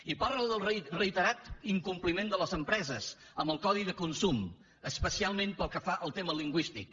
i parla del reiterat incompliment de les empreses amb el codi de consum especialment pel que fa al tema lingüístic